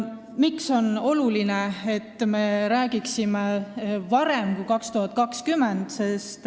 Miks on oluline, et me räägiksime sellest varem kui 2020?